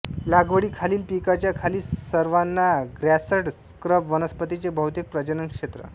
लागवडीखालील पिकांच्या खाली सवाना ग्रासॅंड्स स्क्रब वनस्पतींचे बहुतेक प्रजनन क्षेत्र